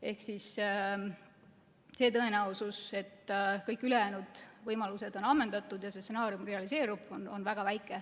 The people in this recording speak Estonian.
Ehk tõenäosus, et kõik ülejäänud võimalused on ammendatud ja see stsenaarium realiseerub, on väga väike.